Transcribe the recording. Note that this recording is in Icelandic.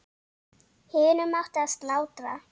Hinum átti að slátra.